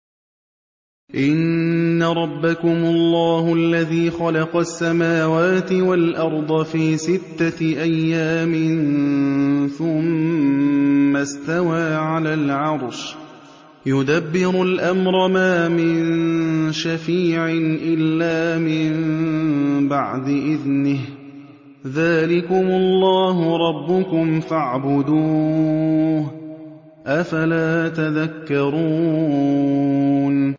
إِنَّ رَبَّكُمُ اللَّهُ الَّذِي خَلَقَ السَّمَاوَاتِ وَالْأَرْضَ فِي سِتَّةِ أَيَّامٍ ثُمَّ اسْتَوَىٰ عَلَى الْعَرْشِ ۖ يُدَبِّرُ الْأَمْرَ ۖ مَا مِن شَفِيعٍ إِلَّا مِن بَعْدِ إِذْنِهِ ۚ ذَٰلِكُمُ اللَّهُ رَبُّكُمْ فَاعْبُدُوهُ ۚ أَفَلَا تَذَكَّرُونَ